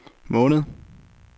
måned